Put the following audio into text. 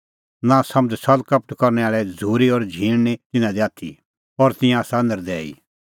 नांसमझ़ छ़ल़कपट करनै आल़ै झ़ूरी और झींण निं तिन्नां दी आथी और तिंयां आसा नर्दैई